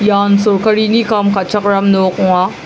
ian solkarini kam ka·chakram nok ong·a.